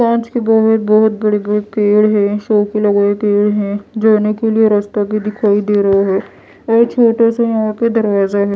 कांच के बाहर बहोत बहोत बडे बडे पेड़ है सौ है जाने के लिए रास्ता भी दिखाई दे रहे हैं और छोटा सा यहां पे दरवाजा है।